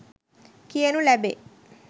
කියනු ලැබේ.